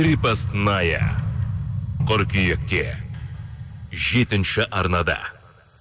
крепостная қырқүйекте жетінші арнада